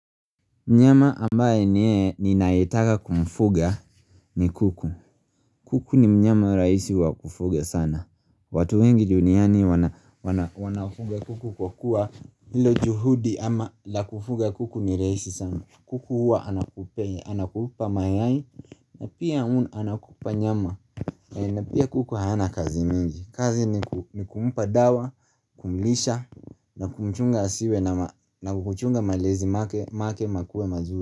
Mnyama ambaye ni ninayetaka kumfuga ni kuku. Kuku ni mnyama rahisi wa kufuga sana. Watu wengi duniani wanafuga kuku kwa kuwa ilo juhudi ama la kufuga kuku ni rahisi sana. Kuku huwa anakupei, anakupa mayai na pia hu anakupa nyama na pia kuku hana kazi mingi. Kazi ni kumpa dawa, kumlisha na kumchunga asiwe na kumchunga malezi make makuwe mazuri.